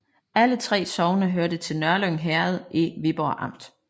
Alle 3 sogne hørte til Nørlyng Herred i Viborg Amt